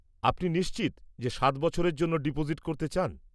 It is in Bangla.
আপনি নিশ্চিত যে সাত বছরের জন্য ডিপোজিট করতে চান?